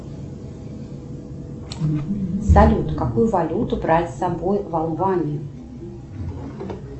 салют какую валюту брать с собой в албанию